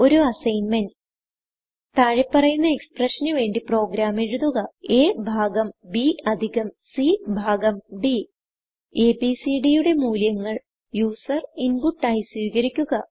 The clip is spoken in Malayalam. ഒരു അസ്സിഗ്ന്മെന്റ്160 താഴെ പറയുന്ന എക്സ്പ്രഷൻ ന് വേണ്ടി പ്രോഗ്രാം എഴുതുക aഭാഗം bഅധികം c ഭാഗം d abcഡ് യുടെ മൂല്യങ്ങൾ യൂസർ ഇൻപുട്ട് ആയി സ്വീകരിക്കുക